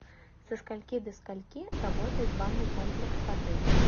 со скольки до скольки работает банный комплекс в отеле